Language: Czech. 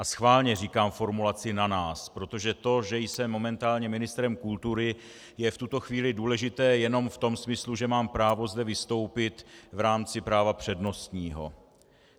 A schválně říkám formulaci na nás, protože to, že jsem momentálně ministrem kultury, je v tuto chvíli důležité jenom v tom smyslu, že mám právo zde vystoupit v rámci práva přednostního.